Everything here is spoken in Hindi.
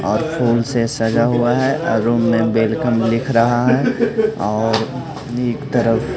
और फूल से सजा हुआ है और रूम में वेलकम लिख रहा है और एक तरफ--